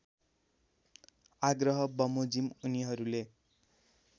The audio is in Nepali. आग्रह बमोजिम उनीहरूले